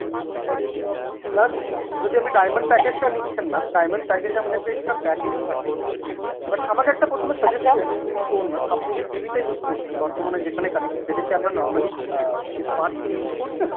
plus যদিও আপনি diamond package টা নিচ্ছেন না, diamond package এ আমাদের একটা extra package ও থাকে but আমাকে একটা প্রথমে suggestion জিনিস বলুন ma'am আপনি যে TV টা use করছেন বর্তমানে যেখানে connected, এটা কি আপনার normally আ smartTV use করছেন?